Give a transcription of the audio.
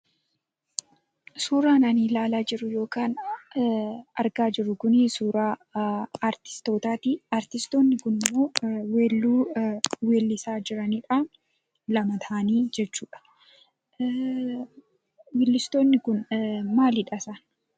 Suuraan ani ilaalaa jiru yookaan argaa jiru kunii suuraa artistootaati. Artistoonni kunimmoo weelluu weellisaa jiranidhaa lama ta'anii jechuudha. Weellistoonni kun maalidha isaan?